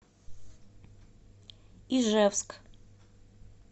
ижевск